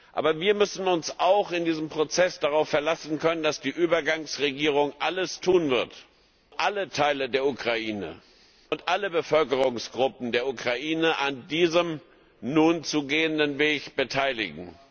Aber wir müssen uns auch in diesem Prozess darauf verlassen können, dass die Übergangsregierung alles tun wird, um alle Teile der Ukraine und alle Bevölkerungsgruppen der Ukraine an diesem nun zu gehenden Weg zu beteiligen.